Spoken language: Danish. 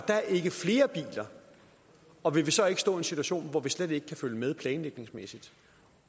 flere biler og vil vi så ikke stå i en situation hvor vi slet ikke kan følge med planlægningsmæssigt